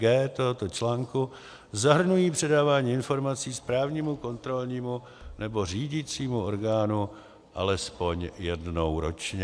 g) tohoto článku zahrnují předávání informací správnímu, kontrolnímu nebo řídicímu orgánu alespoň jednou ročně.